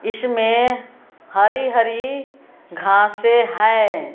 इसमें हरी हरी घासें हैं।